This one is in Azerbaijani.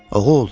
Oğul!